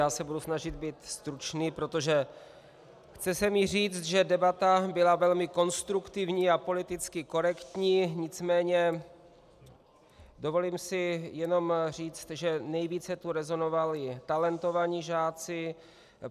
Já se budu snažit být stručný, protože chce se mi říct, že debata byla velmi konstruktivní a politicky korektní, nicméně dovolím si jenom říct, že nejvíce tu rezonovali talentovaní žáci.